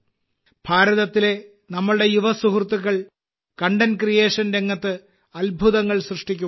ഭാരതത്തിലെ നമ്മുടെ യുവസുഹൃത്തുക്കൾ കണ്ടന്റ് ക്രിയേഷൻ രംഗത്ത് അത്ഭുതങ്ങൾ സൃഷ്ടിക്കുകയാണ്